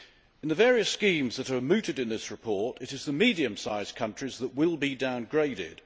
In the various schemes that are mooted in this report, it is the medium sized countries that will be downgraded.